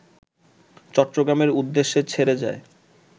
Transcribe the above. চট্টগ্রামের উদ্দেশ্যে ছেড়ে যায়